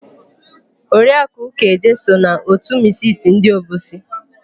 Oriakụ Ụkaeje so na òtù misisi ndị Obosi.